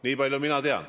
Nii palju mina tean.